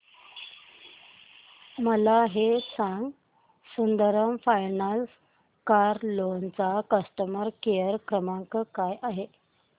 मला हे सांग सुंदरम फायनान्स कार लोन चा कस्टमर केअर क्रमांक काय आहे